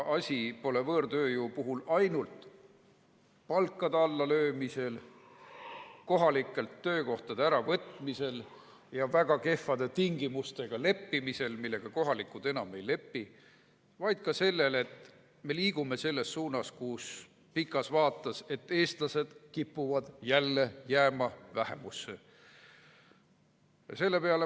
Asi pole võõrtööjõu puhul ainult palkade allalöömises, kohalikelt töökohtade äravõtmises ja leppimises väga kehvade tingimustega, millega kohalikud enam ei lepi, vaid ka selles, et me liigume pikas vaates selles suunas, et eestlased kipuvad jälle vähemusse jääma.